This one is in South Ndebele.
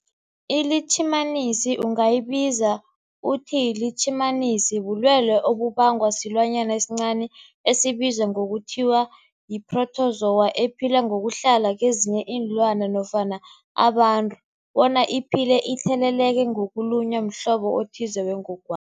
ILitjhimanisi ungayibiza uthiyilitjhimanisi, bulwelwe obubangwa silwanyana esincani esibizwa ngokuthiyi-phrotozowa ephila ngokuhlala kezinye iinlwana nofana abantu bona iphile itheleleka ngokulunywa mhlobo othize wengogwana.